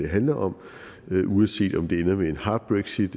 handler om uanset om det ender med et hard brexit